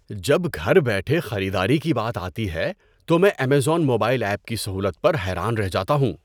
جب گھر بیٹھے خریداری کی بات آتی ہے تو میں ایمیزون موبائل ایپ کی سہولت پر حیران رہ جاتا ہوں۔